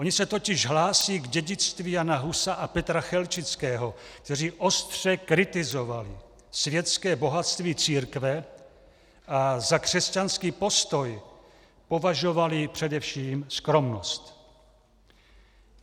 Oni se totiž hlásí k dědictví Jana Husa a Petra Chelčického, kteří ostře kritizovali světské bohatství církve a za křesťanský postoj považovali především skromnost.